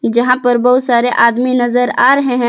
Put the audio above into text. जहां पर बहुत सारे आदमी नजर आ रहे हैं।